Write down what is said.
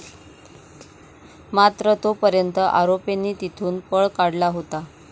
मात्र तो पर्यंत आरोपींनी तेथून पळ काढला होता.